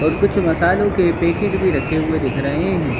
और कुछ मसालों के पैकेट भी रखें हुए दिख रहे हैं।